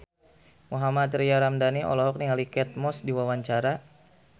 Mohammad Tria Ramadhani olohok ningali Kate Moss keur diwawancara